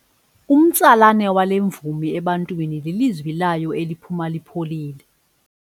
Umtsalane wale mvumi ebantwini lilizwi layo eliphuma lipholile.